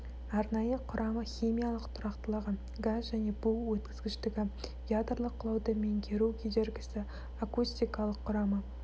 арнайы құрамы химиялық тұрақтылығы газ және бу өткізгіштігі ядорлық құлауды меңгеру кедергісі акустикалық құрамы